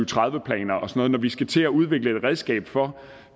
tredive planer og sådan og vi skal til at udvikle et redskab for